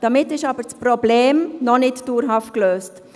Damit ist aber das Problem noch nicht dauerhaut gelöst.